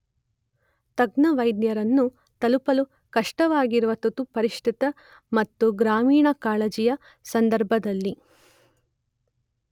ತಜ್ಞ ವೈದ್ಯರನ್ನು ತಲುಪಲು ಕಷ್ಟವಾಗಿರುವ ತುರ್ತುಪರಿಸ್ಥಿತಿ ಮತ್ತು ಗ್ರಾಮೀಣ ಕಾಳಜಿಯ ಸಂದರ್ಭದಲ್ಲಿ